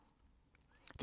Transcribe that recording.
DR P3